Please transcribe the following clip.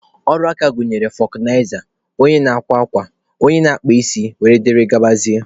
Ọrụ aka gụnyere fọkụnaiza, onye na-akwa akwa, onye na-akpa isi wdg.